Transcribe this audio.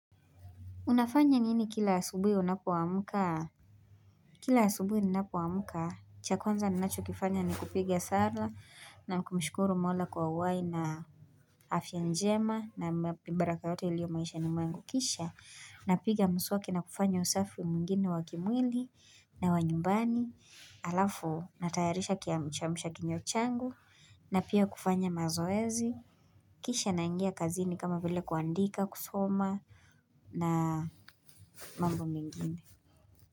Unafanya nini kila asubuhi unapoamka? Kila asubuhi ninapoamka, cha kwanza ninachokifanya ni kupiga sala na kumshkuru mola kwa uhai na afya njema na baraka yote iliyo maishani mwangu kisha. Napiga mswaki na kufanya usafi mwinginine wa kimwili na wa nyumbani. Alafu natayarisha kiamsha kinywa changu na pia kufanya mazoezi. Kisha naingia kazini kama vile kuandika, kusoma na mambo mengine.